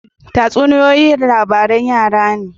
Tatsuniyoyi labaran yara ne.